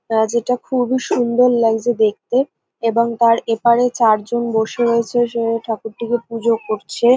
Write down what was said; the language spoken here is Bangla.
যেটা খুবই সুন্দর লাগছে দেখতে এবং তার এপারে চারজন বসে রয়েছে। উম ঠাকুরটিকে পুজো করছে।